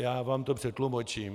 Já vám to přetlumočím.